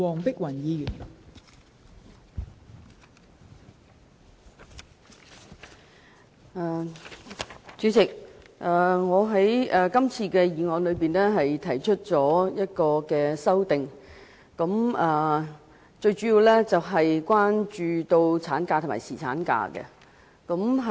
代理主席，我對原議案提出的修正案主要是關於產假和侍產假。